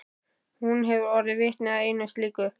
Hún hefur orðið vitni að einu slíku.